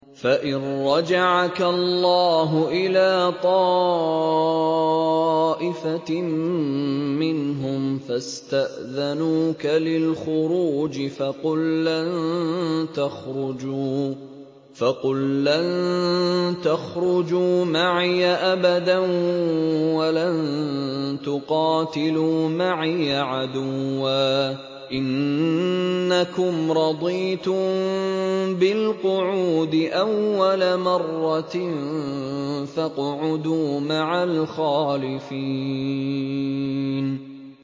فَإِن رَّجَعَكَ اللَّهُ إِلَىٰ طَائِفَةٍ مِّنْهُمْ فَاسْتَأْذَنُوكَ لِلْخُرُوجِ فَقُل لَّن تَخْرُجُوا مَعِيَ أَبَدًا وَلَن تُقَاتِلُوا مَعِيَ عَدُوًّا ۖ إِنَّكُمْ رَضِيتُم بِالْقُعُودِ أَوَّلَ مَرَّةٍ فَاقْعُدُوا مَعَ الْخَالِفِينَ